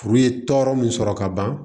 Furu ye tɔɔrɔ min sɔrɔ ka ban